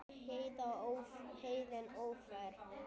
Heiðin ófær?